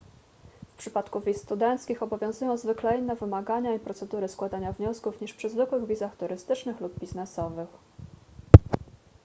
w przypadku wiz studenckich obowiązują zwykle inne wymagania i procedury składania wniosków niż przy zwykłych wizach turystycznych lub biznesowych